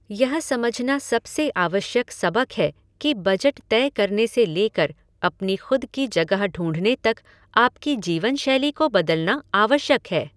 यह समझना सबसे आवश्यक सबक है कि बजट तय करने से लेकर अपनी खुद की जगह ढूँढने तक आपकी जीवनशैली को बदलना आवश्यक है।